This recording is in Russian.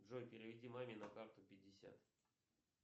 джой переведи маме на карту пятьдесят